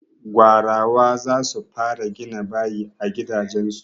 Gwarawa za su fara gina bayi a gidajen su.